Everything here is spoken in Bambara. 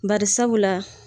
Barisabu la